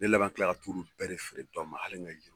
Ne laban tilala ka t'olu bɛɛ de feere dɔ ma hali n ka juru